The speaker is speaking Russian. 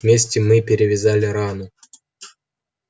вместе мы перевязали рану